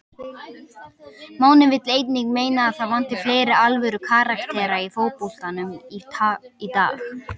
Máni vill einnig meina að það vanti fleiri alvöru karaktera í fótboltann í dag.